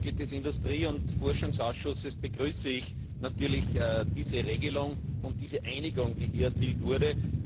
Als Mitglied des Industrie und Forschungsausschusses begrüße ich natürlich diese Regelung und die Einigung, die hier erzielt wurde.